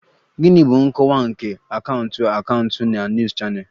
Gịnị bụ nkọwa nke Akaụntụ Akaụntụ na News Channel?